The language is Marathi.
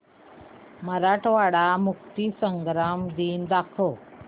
मराठवाडा मुक्तीसंग्राम दिन दाखव